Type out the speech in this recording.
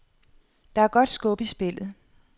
Der er godt skub i spillet.